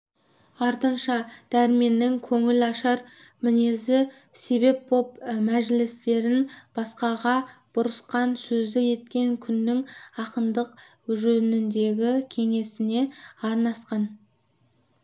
артынша дәрменнің көңілашар мінезі себеп боп мәжілістерін басқаға бұрысқан сөзді еткен күннің ақындық жөніндегі кеңесіне арнасқан